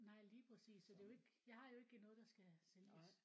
Nej lige præcis så det er jo ikke jeg har jo ikke noget der skal sælges